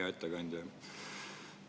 Hea ettekandja!